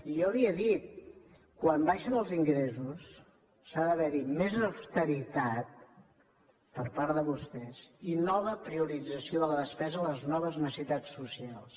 jo li he dit quan baixen els ingressos ha d’haver hi més austeritat per part de vostès i nova priorització de la despesa a les noves necessitats socials